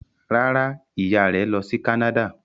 Rárá, ìyá rẹ̀ lọ sí Canada.